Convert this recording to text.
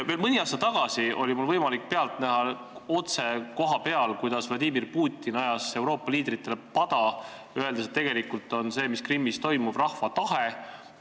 Veel mõni aasta tagasi oli mul võimalik pealt näha otse kohapeal, kuidas Vladimir Putin ajas Euroopa liidritele pada, öeldes, et tegelikult on see, mis Krimmis toimub, rahva tahe.